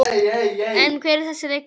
En hver er þessi leikmaður?